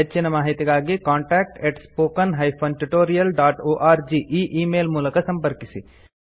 ಹೆಚ್ಚಿನ ಮಾಹಿತಿಗಾಗಿ contact spoken tutorialorg e email ಮೂಲಕ ಸಂಪರ್ಕಿಸಿ